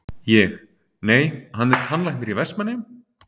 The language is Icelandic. Ég: Nei, hann er tannlæknir í Vestmannaeyjum?